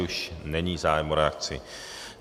Už není zájem o reakci.